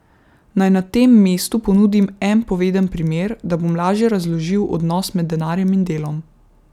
Naj na tem mestu ponudim en poveden primer, da bom lažje razložil odnos med denarjem in delom.